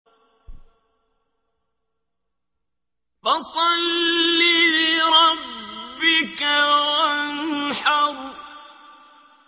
فَصَلِّ لِرَبِّكَ وَانْحَرْ